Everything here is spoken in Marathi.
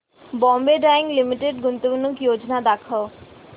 बॉम्बे डाईंग लिमिटेड गुंतवणूक योजना दाखव